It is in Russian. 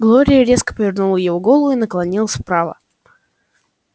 глория резко повернула его голову и наклонилась вправо